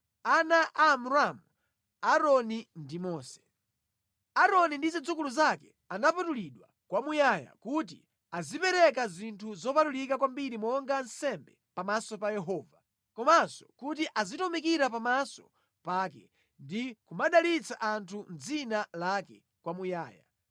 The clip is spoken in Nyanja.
Ana a Amramu: Aaroni ndi Mose. Aaroni ndi zidzukulu zake anapatulidwa kwamuyaya kuti azipereka zinthu zopatulika kwambiri monga nsembe pamaso pa Yehova, komanso kuti azitumikira pamaso pake ndi kumadalitsa anthu mʼdzina lake kwamuyaya.